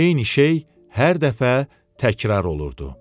Eyni şey hər dəfə təkrar olunurdu.